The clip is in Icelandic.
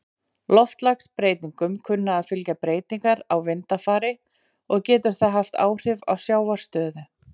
Loftslagsbreytingum kunna að fylgja breytingar á vindafari, og getur það haft áhrif á sjávarstöðu.